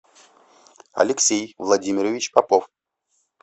алексей владимирович попов